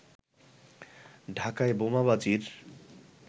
ঢাকায় বোমাবাজির